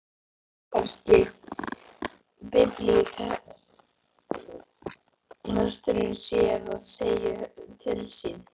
Kannski biblíulesturinn sé að segja til sín.